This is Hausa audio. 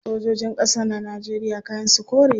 Sojojin kasa na Najeriya kayan su kore ne